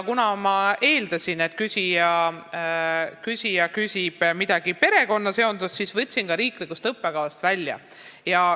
Kuna ma eeldasin, et küsija küsib perekonnaga seonduva kohta, siis ma võtsin selle koha ka riiklikust õppekavast välja.